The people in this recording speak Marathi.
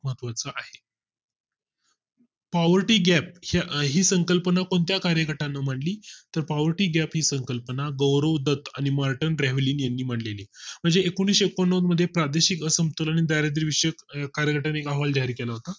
poverty gap ही संकल्पना कोणत्या कार्यगटाने मांडली तर poverty gap ही संकल्पना गौरव दत्त आणि मार्टिन ब्रेव्हलीन यांनी मांडलेली आहे. म्हणजे एकोणीशे एक्कोण न्नवद मध्ये प्रादेशिक असंतुलन आणि दारिद्र्य विषयी कार्यगटाने एक अहवाल जाहीर केला होता